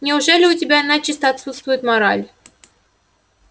неужели у тебя начисто отсутствует мораль